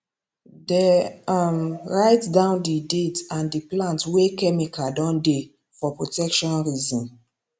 dey um write down the date and the plant wey chemical don dey for protection reason